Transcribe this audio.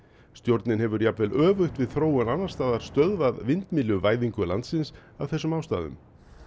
stjórnin hefur jafnvel öfugt við þróun annars staðar stöðvað landsins af þessum ástæðum